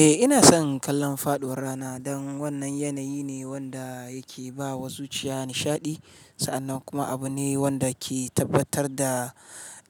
Eh, ina son kallon faɗuwar rana don wannan yanayi ne wanda yake ba wa zuciya nishaɗi sa'annan kuma abu ne wanda ke tabbatar da